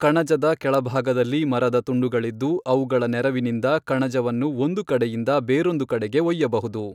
ಕಣಜದ ಕೆಳಭಾಗದಲ್ಲಿ ಮರದ ತುಂಡುಗಳಿದ್ದು ಅವುಗಳ ನೆರವಿನಿಂದ ಕಣಜವನ್ನು ಒಂದು ಕಡೆಯಿಂದ ಬೇರೊಂದು ಕಡೆಗೆ ಒಯ್ಯಬಹುದು.